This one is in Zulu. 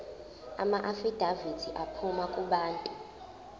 amaafidavithi aphuma kubantu